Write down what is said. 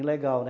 Ilegal, né?